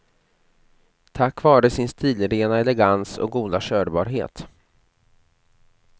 Tack vare sin stilrena elegans och goda körbarhet.